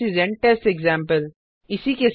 this is an test example